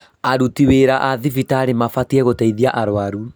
Aruti wĩra a thibitarĩ mabatiĩ gũteithia arũaru